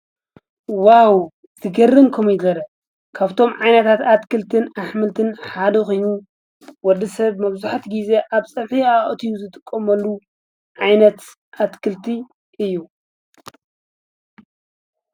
ዋው ዝገርንኩም ይገረ ካፍቶም ዓይነታት ኣትክልትን ኣኅምልትን ሓዶኺኑ ወዲ ሰብ መብዙሐት ጊዜ ኣብ ጸፊሕኣ እትዩ ዘትቖመሉ ዓይነት ኣትክልቲ እዩ።